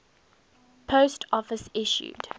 post office issued